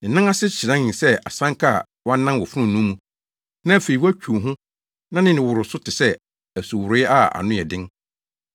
Ne nan ase hyerɛnee sɛ asanka a wɔanan wɔ fononoo mu na afei wɔatwiw ho na ne nne woro so te sɛ asuworoe a ano yɛ den.